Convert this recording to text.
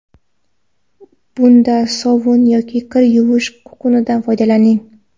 Bunda sovun yoki kir yuvish kukunidan foydalaning.